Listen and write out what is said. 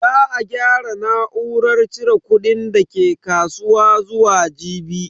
Za a gyara na'urar cire kudin dake kasuwa zuwa jibi.